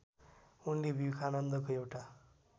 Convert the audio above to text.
उनले विवेकानन्दको एउटा